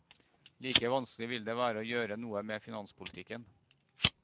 Like vanskelig vil det være å gjøre noe med finanspolitikken.